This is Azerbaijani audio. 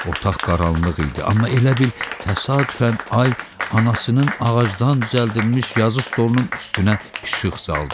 Otaq qaranlıq idi, amma elə bil təsadüfən ay anasının ağacdan düzəldilmiş yazı stolunun üstünə işıq saldı.